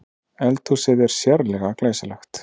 Eldhúsið er sérlega glæsilegt